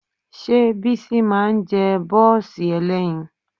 Ṣé Bísí máa ń jẹ bọ́ọ̀sì ẹlẹ́yin?